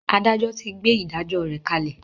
Adájọ ti gbé “ ìdájọ ” rẹ̀ kalẹ̀.